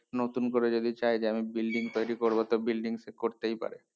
নুতন করি যদি চাই যে আমি building তৈরী করবো তো building সে করতেই পারে